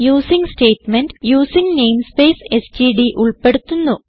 using statement using namespace STD ഉൾപ്പെടുത്തുന്നു